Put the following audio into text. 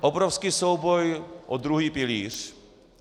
Obrovský souboj o druhý pilíř.